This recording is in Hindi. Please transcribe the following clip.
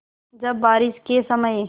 जब बारिश के समय